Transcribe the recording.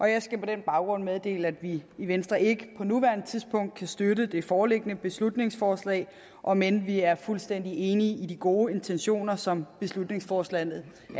jeg skal på den baggrund meddele at vi i venstre ikke på nuværende tidspunkt kan støtte det foreliggende beslutningsforslag om end vi er fuldstændig enige i de gode intentioner som beslutningsforslaget